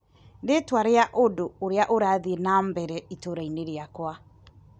Rĩtwa rĩa undu ũrĩa ũrathiĩ na mbere itũra-inĩ rĩakwa .